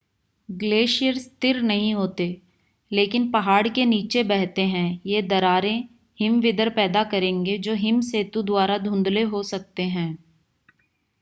glacier स्थिर नहीं होते लेकिन पहाड़ के नीचे बहते है यह दरारें हिमविदर पैदा करेंगे जो हिम सेतु द्वारा धुंधले हो सकते हैं